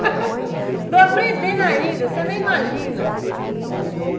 estou aprendendo ainda, você nem imagina.